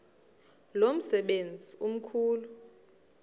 lo msebenzi mkhulu